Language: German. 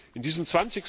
in diesem